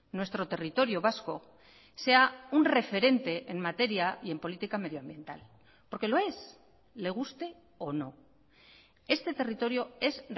nuestro territorio vasco sea un referente en materia y en política medioambiental porque lo es le guste o no este territorio es